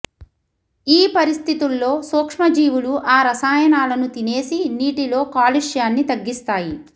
ఈ పరిస్థితుల్లో సూక్ష్మజీవులు ఆ రసాయనాలను తినేసి నీటిలో కాలుష్యాన్ని తగ్గిస్తాయి